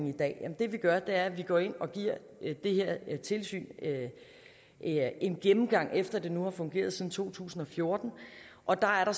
i dag ja det vi gør er at vi går ind og giver det her tilsyn en gennemgang efter at det nu har fungeret siden to tusind og fjorten og der er der